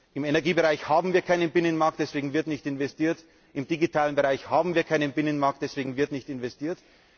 Im Energiebereich haben wir keinen Binnenmarkt, deswegen wird nicht investiert. Im digitalen Bereich haben wir keinen Binnenmarkt, deswegen wird nicht investiert.